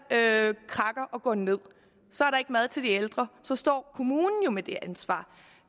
krakker og går ned så er der ikke mad til de ældre så står kommunen jo med det ansvar